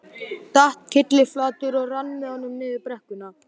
Datt kylliflatur og rann með honum niður brekkuna.